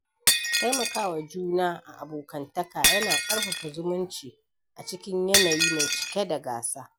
Taimakawa juna a abokantaka yana ƙarfafa zumunci a cikin yanayi mai cike da gasa.